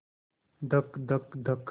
धक धक धक